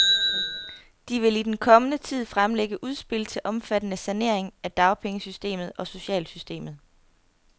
De vil i den kommende tid fremlægge udspil til omfattende saneringer af dagpengesystemet og socialsystemet.